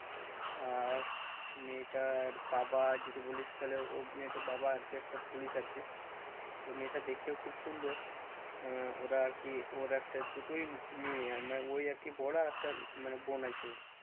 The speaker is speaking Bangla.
আর মেয়েটার বাবা যদি বলিস তাহলে ওর মেয়েটার বাবা আরকি একটা police আর কি। তো মেয়েটা দেখতেও খুব সুন্দর। আহ ওরা আর কি ওই একটা দুটোই মেয়ে আহ মানে ওই আরকি বড়ো একটা মানে বোন আছে ওর